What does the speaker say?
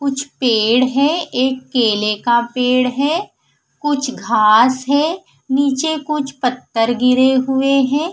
कुछ पेड़ है एक केले का पेड़ है कुछ घास है नीचे कुछ पत्थर गिरे हुए है।